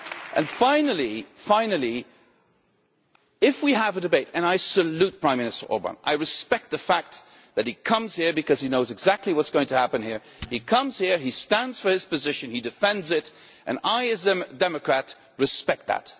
And finally, if we have a debate and I salute Prime Minister Orbán, I respect the fact that he comes here because he knows exactly what is going to happen here he comes here, he stands for his position, he defends it, and I as a democrat respect that.